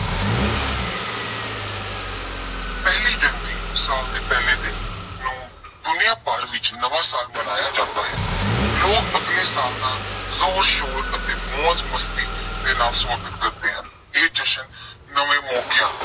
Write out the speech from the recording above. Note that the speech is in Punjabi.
ਪਹਿਲੀ ਜਨਵਰੀ ਸਾਲ ਦੇ ਪਹਿਲੇ ਦਿਨ ਨੂੰ ਦੁਨੀਆ ਭਰ ਵਿੱਚ ਨਵਾਂ ਸਾਲ ਮਨਾਇਆ ਜਾਂਦਾ ਹੈ। ਲੋਕ ਆਪਣੇ ਹਿਸਾਬ ਨਾਲ ਜ਼ੋਰ ਸ਼ੋਰ ਅਤੇ ਮੌਜ ਮਸਤੀ ਦੇ ਨਾਲ ਸਵਾਗਤ ਕਰਦੇ ਹਨ। ਇਹ ਜਸ਼ਨ ਨਵੇਂ ਮੌਕਿਆਂ